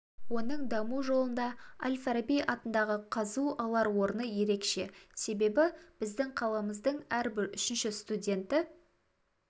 оның даму жолында әл-фараби атындағы қаз алар орны ерекше себебі біздің қаламыздың әрбір үшінші студенті